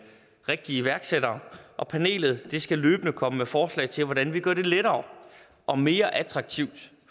rigtige iværksættere og panelet skal løbende komme med forslag til hvordan vi gør det lettere og mere attraktivt